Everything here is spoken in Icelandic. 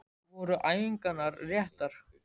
Voru æfingarnar réttar?